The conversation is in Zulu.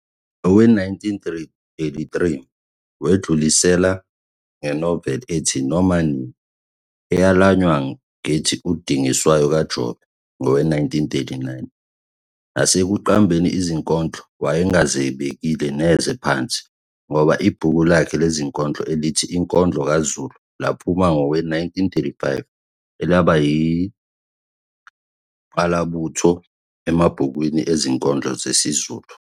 Nowe1933 wedlulisela ngenovel ethi Noma Nini, eyelanywa ngethi UDingiswayo KaJobe, ngowe-1939. Nasekuqambeni izinondlo wayengazibekile neze phansi ngoba ibhuku lakhe lezinkondlo elithi Inkondlo KaZulu laphuma ngowe-1935 elaba yingqalabutho emabhukweni ezinkondlo zesiZulu.